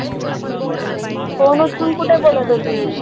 Phone उचलून कुठे बोलत होतीस?